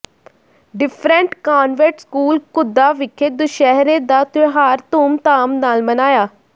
different convent school Ghudda ਵਿਖੇ ਦੁਸ਼ਹਿਰੇ ਦਾ ਤਿਉਹਾਰ ਧੂਮਧਾਮ ਨਾਲ ਮਨਾਇਆ